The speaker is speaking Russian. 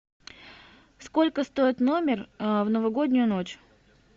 сколько стоит номер в новогоднюю ночь